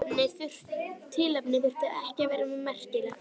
Tilefnið þurfti ekki að vera merkilegt.